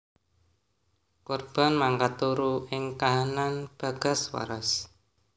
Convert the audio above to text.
Korban mangkat turu ing kahanan bagas waras